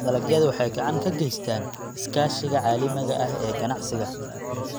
Dalagyadu waxay gacan ka geystaan ??iskaashiga caalamiga ah ee ganacsiga.